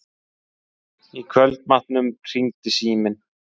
Í kvöldmatnum hringdi síminn.